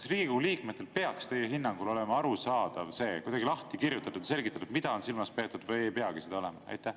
Kas Riigikogu liikmetele peaks teie hinnangul olema arusaadav, kuidagi lahti kirjutatud ja selgitatud, mida on silmas peetud, või ei peagi seda olema?